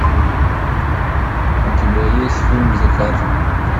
у тебя есть фильм закат